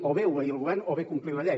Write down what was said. o bé obeir el govern o bé complir la llei